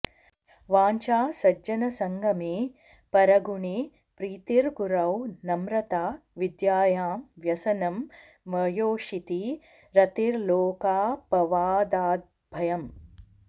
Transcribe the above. वाञ्छा सज्जनसङ्गमे परगुणे प्रीतिर्गुरौ नम्रता विद्यायां व्यसनं म्वयोषिति रतिर्लोकापवादाद्भयम्